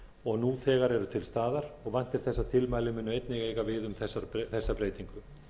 og nú þegar eru til staðar og væntir þess að tilmælin muni einnig eiga við um þessa breytingu